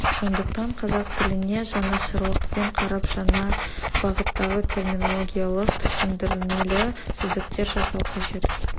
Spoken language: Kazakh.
сондықтан қазақ тіліне жанашырлықпен қарап жаңа бағыттағы терминологиялық түсіндірмелі сөздіктер жасау қажет